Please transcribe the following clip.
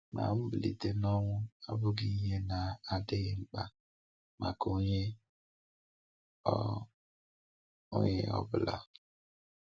Ma mbilite n’ọnwụ abụghị ihe na-adịghị mkpa maka onye ọ onye ọ bụla.